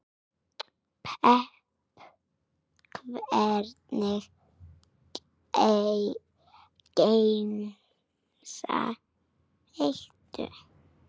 pepp Hvernig gemsa áttu?